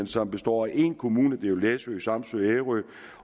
som består af én kommune det er jo læsø samsø og ærø